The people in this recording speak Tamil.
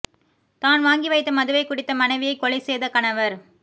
தான் வாங்கி வைத்த மதுவை குடித்த மனைவியை கொலை செய்த கணவர்